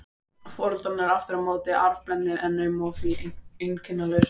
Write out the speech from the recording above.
Foreldrarnir eru aftur á móti arfblendnir um hann og því einkennalausir.